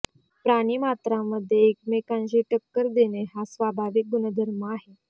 प्राणी मात्रांमध्ये एकमेकाशी टक्कर देणे हा स्वाभाविक गुणधर्म आहे